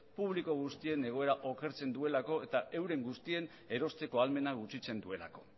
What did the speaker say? publiko guztien egoera okertzen duelako eta euren guztien erosteko ahalmena gutxitzen duelako